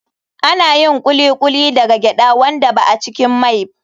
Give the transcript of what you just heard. Ana yin Kuli kuli daga gyaɗa wanda ba a cikin mai.